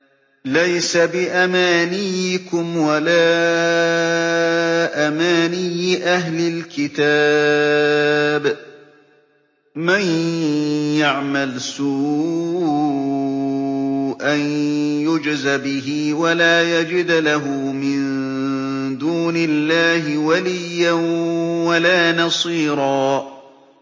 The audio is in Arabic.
لَّيْسَ بِأَمَانِيِّكُمْ وَلَا أَمَانِيِّ أَهْلِ الْكِتَابِ ۗ مَن يَعْمَلْ سُوءًا يُجْزَ بِهِ وَلَا يَجِدْ لَهُ مِن دُونِ اللَّهِ وَلِيًّا وَلَا نَصِيرًا